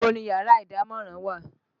Ibo ni yàrá ìdámọ̀ràn wà?